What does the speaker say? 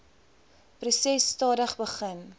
proses stadig begin